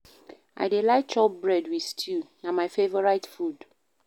I dey like chop bread wit stew, na my favourite food.